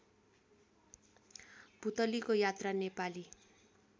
पुलतीको यात्रा नेपाली